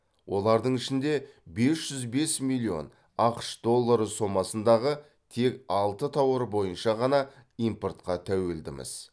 олардың ішінде бес жүз бес миллион ақш доллары сомасындағы тек алты тауар бойынша ғана импортқа тәуелдіміз